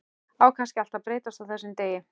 Á kannski allt að breytast á þessum degi.